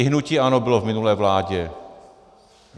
I hnutí ANO bylo v minulé vládě.